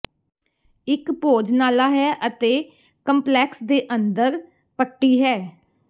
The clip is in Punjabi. ਇੱਕ ਭੋਜਨਾਲਾ ਹੈ ਅਤੇ ਕੰਪਲੈਕਸ ਦੇ ਅੰਦਰ ਪੱਟੀ ਹੈ